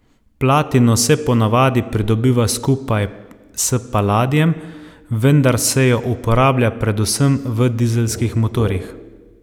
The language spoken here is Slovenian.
Platino se ponavadi pridobiva skupaj s paladijem, vendar se jo uporablja predvsem v dizelskih motorjih.